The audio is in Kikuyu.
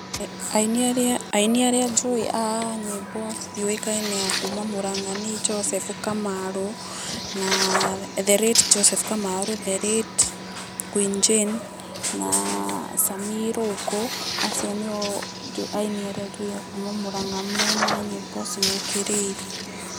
Aini arĩa njũĩ a nyĩmbo ciũkaine akuma Mũrang'a nĩ Joseph Kamarũ, the late Joseph Kamarũ, the late Queen Jane na Sammie Irũngũ, acio nĩo aini arĩa njũĩ akuma Mũrang'a.